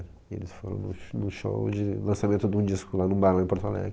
E eles foram no sh no show de lançamento de um disco lá num bairro em Porto Alegre.